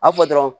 A fɔ dɔrɔn